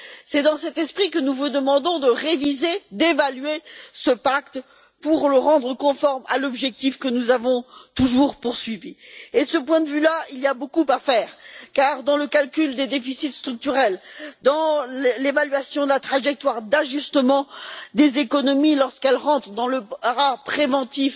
C'est dans cet esprit que nous vous demandons de réviser et d'évaluer ce pacte pour le rendre conforme à l'objectif que nous avons toujours poursuivi. De ce point de vue, il y a beaucoup à faire car, dans le calcul des déficits structurels, dans l'évaluation de la trajectoire d'ajustement des économies, lorsqu'elles rentrent dans le bras préventif